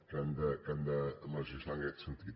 que han de legislar en aquest sentit